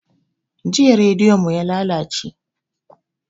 Jiya rediyo mu yalalace